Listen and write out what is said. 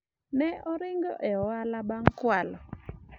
ne oringo e ohala bang' kwalo